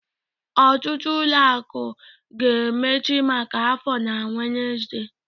Ọtụtụ ụlọ akụ ga-emechi maka afọ na Wednesde